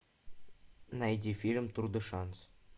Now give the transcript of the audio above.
найди фильм тур де шанс